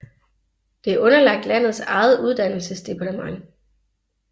Det er underlagt landets eget uddannelsesdepartement